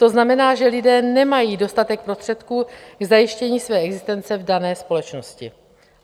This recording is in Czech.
To znamená, že lidé nemají dostatek prostředků k zajištění své existence v dané společnosti."